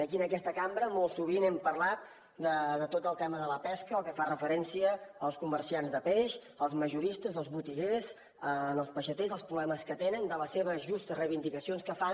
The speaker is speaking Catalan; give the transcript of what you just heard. aquí en aquesta cambra molt sovint hem parlat de tot el tema de la pesca el que fa referència als comerciants de peix els majoristes els botiguers els peixaters els problemes que tenen de les seves justes reivindicacions que fan